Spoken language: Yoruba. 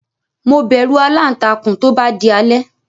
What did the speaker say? Mo bẹ̀rù aláǹtakùn tó bá di alẹ́.